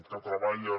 que treballen